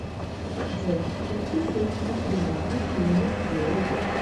джой включи сеть ветеринарных клиник био вет